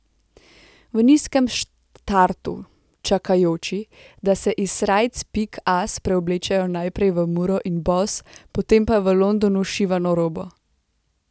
V nizkem startu čakajoči, da se iz srajc pik as preoblečejo najprej v muro in boss, potem pa v Londonu šivano robo.